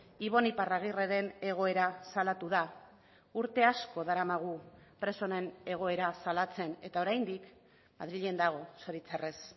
ibon iparragirreren egoera salatu da urte asko daramagu preso honen egoera salatzen eta oraindik madrilen dago zoritxarrez